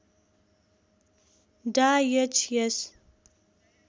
डा H S